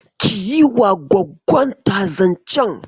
Ki yi wa gwaggonta zancen.